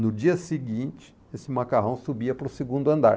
No dia seguinte, esse macarrão subia para o segundo andar.